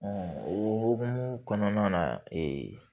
o hokumu kɔnɔna na